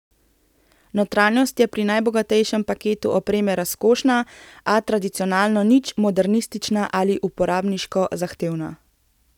Notranjost je pri najbogatejšem paketu opreme razkošna, a tradicionalno nič modernistična ali uporabniško zahtevna.